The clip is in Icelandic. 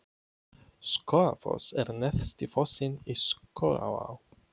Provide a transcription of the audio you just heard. Skógafoss er neðsti fossinn í Skógaá.